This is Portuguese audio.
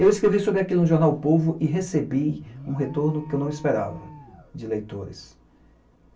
E eu escrevi sobre aquilo no jornal O Povo e recebi um retorno que eu não esperava de leitores.